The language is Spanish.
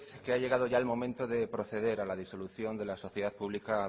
que ha llegado ya el momento de proceder a la disolución de la sociedad pública